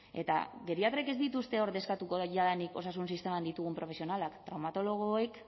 eta geriatrek ez dituzte ordezkatuko jadanik osasun sistemak ditugun profesionalak traumatologoek